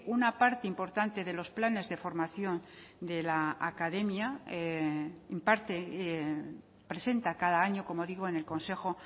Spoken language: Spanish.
una parte importante de los planes de formación de la academia imparte presenta cada año como digo en el consejo